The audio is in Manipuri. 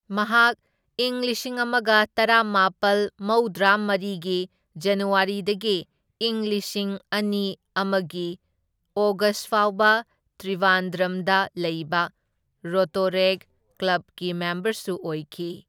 ꯃꯍꯥꯛ ꯢꯪ ꯂꯤꯁꯤꯡ ꯑꯃꯒ ꯇꯔꯥꯃꯥꯄꯜ ꯃꯧꯗ꯭ꯔꯥꯃꯔꯤꯒꯤ ꯖꯅꯋꯥꯔꯤꯗꯒꯤ ꯢꯪ ꯂꯤꯁꯤꯡ ꯑꯅꯤ ꯑꯃꯒꯤ ꯑꯣꯒꯁ ꯐꯥꯎꯕ ꯇ꯭ꯔꯤꯕꯥꯟꯗ꯭ꯔꯝꯗ ꯂꯩꯕ ꯔꯣꯇꯣꯔꯦꯛꯠ ꯀ꯭ꯂꯕꯀꯤ ꯃꯦꯝꯕꯔꯁꯨ ꯑꯣꯏꯈꯤ꯫